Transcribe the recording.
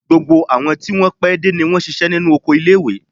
Gbogbo àwọn tí wọn pé dé ni wọ́n ṣíṣe nínú oko ilé-ìwé.